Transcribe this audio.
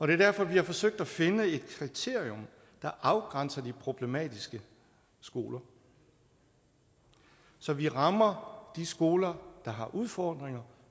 det er derfor vi har forsøgt at finde et kriterium der afgrænser de problematiske skoler så vi rammer de skoler der har udfordringer